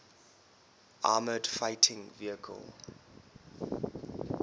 armoured fighting vehicles